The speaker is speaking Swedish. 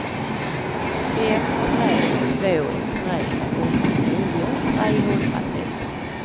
fem tre två tre åttionio trehundratretton